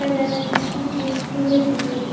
और ज्यादा बिस्किट हे तेल हे।